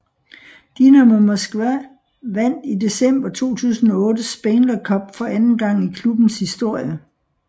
Dynamo Moskva vandt i december 2008 Spengler Cup for anden gang i klubbens historie